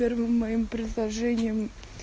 первым моим предложением